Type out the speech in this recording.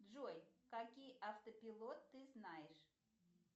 джой какие автопилот ты знаешь